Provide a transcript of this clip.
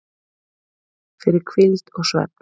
fyrir hvíld og svefn